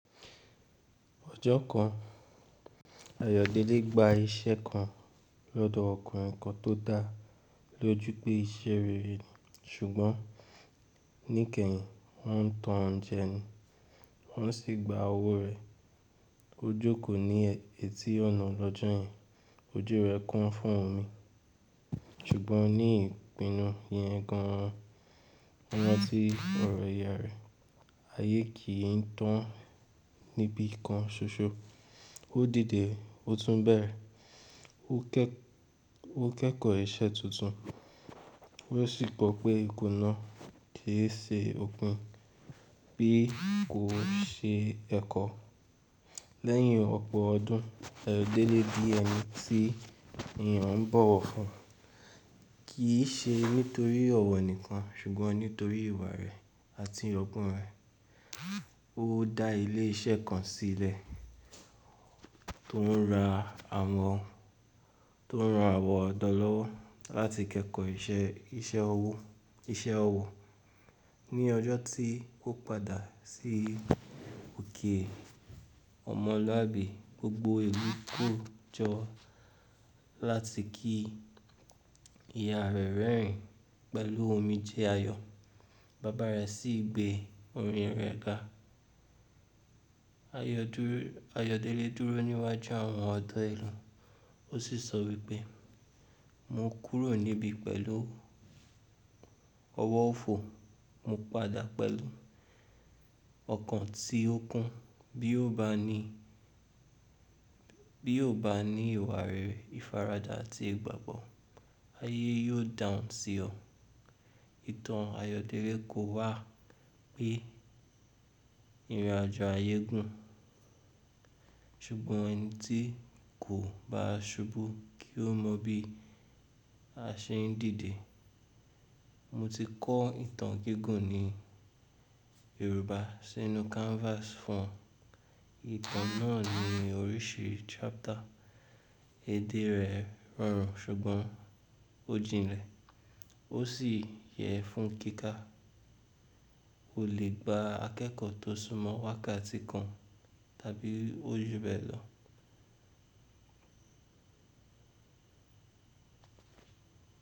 Ọjọ́ kan, Ayọ̀délé gba iṣẹ́ kan lọ́dọ̀ ọkùnrin kan tó dáa, lójú pé iṣẹ́ rere. Ṣùgbọ́n ní ìkẹyìn, wọ́n tan jẹ ni, wọ́n sì gba owó rẹ̀. Ó jókòó ní etí ọ̀nà lọ́jọ́ yen, ojú rẹ̀ kún fún omi. Ṣùgbọ́n ní ìpinnu ìyẹn gan an, ọmọ tí ọ̀rọ̀ ìyá rẹ̀, ayé kì í tán níbi kan ṣoṣo. Ó dìde, ó tún bẹ̀rẹ̀, ó kẹ́kọ̀ọ́ ìṣe tuntun, ó sì gbọ́ pé ikùn náà kì í ṣe okùn, bí kò ṣe ẹkọ. Lẹ́yìn ọ̀pọ̀ ọdún, Ayọ̀délé di ẹni tí èèyàn ń bọ̀wọ̀ fún, kì í ṣe nítorí ọ̀wọ́ nìkan, ṣùgbọ́n nítorí ìwà rẹ̀ àti ọgbọ́n rẹ̀. Ó dá ilé iṣẹ́ kan sílẹ̀ tó ń ra àwọn ọ̀dọ́ lọ́wọ́ láti kẹ́kọ̀ọ́ iṣẹ́ ọwọ́. Ni ọjọ́ tí kó padà sí òkè ọmọlúàbí, gbogbo ìlú kó jọ láti kí ìyá rẹ̀ rẹ́rìn ín pẹ̀lú omi jẹ́ayọ̀. Bàbá rẹ̀ sì gbé orin rẹ̀ ga. Ayọ̀délé dúró níwájú àwọn ọ̀dọ́ ìlú, ó sì sọ wípé: “Mo kúrò níbí pẹ̀lú ọwọ́ ọ̀fọ̀, mo padà pẹ̀lú ọkàn tí ó kún bi o bani Bí ó bá ní ìwà rere, ìfaradà àti ìgbàgbọ́, ayé yóò dàún sí ọ.”Ìtàn Ayọ̀délé kó wá pé ìrìnàjò ayé gùn, ṣùgbọ́n ẹni tí kò bá ṣubú kì í mọ bí a ṣe ń dìde. Mo ti kọ ìtàn gígùn ní Yorùbá sínú canvas fún. Ìtàn náà ní oríṣi chapter, èdè rẹ̀ rọrùn ṣùgbọ́n ó jinlẹ̀, ó sì yẹ fún kíkà. O le gba akẹ́kọ̀ọ́ tó súnmọ́ wákàtí kan tàbí ojúbẹ̀ lọ.